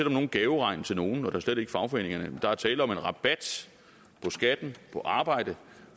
om nogen gaveregn til nogen og da slet ikke til fagforeningerne der er tale om en rabat på skatten på arbejde